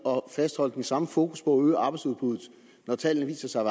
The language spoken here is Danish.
fastholde det samme fokus på at øge arbejdsudbuddet når tallene viser sig at